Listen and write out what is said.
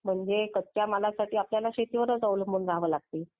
म्हणजे कच्च्या मालासाठी आपल्याला शेतीवर. शेतीवरच अवलंबून राहावे लागते.